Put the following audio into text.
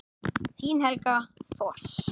Þín Helga Thors.